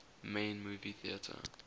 main movie theatre